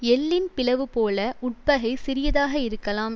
எள்ளின் பிளவு போல உட்பகை சிறியதாக இருக்கலாம்